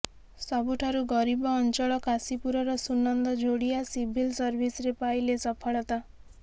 ସବୁଠାରୁ ଗରିବ ଅଂଚଳ କାଶୀପୁରର ସୁନନ୍ଦ ଝୋଡିଆ ସିଭିଲ୍ ସର୍ଭିସରେ ପାଇଲେ ସଫଳତା